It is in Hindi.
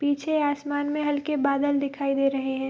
पीछे आसमान में हल्के बादल दिखाई दे रहे हैं।